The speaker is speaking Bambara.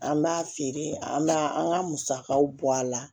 An b'a feere an b'a an ka musakaw bɔ a la